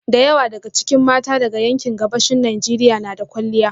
Da yawa daga cikin mata daga yankin Gabashin Najeriya na da kwalliya